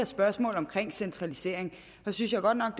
spørgsmål om centralisering synes jeg godt nok